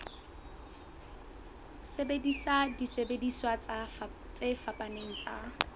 sebedisa disebediswa tse fapaneng tsa